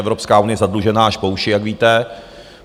Evropská unie je zadlužená až po uši, jak víte.